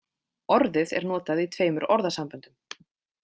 Orðið er notað í tveimur orðasamböndum.